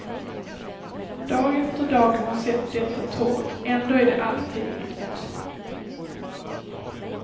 Dag efter dag har hon sett detta torg, ändå är det alltid nytt.